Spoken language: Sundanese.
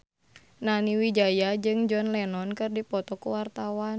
Nani Wijaya jeung John Lennon keur dipoto ku wartawan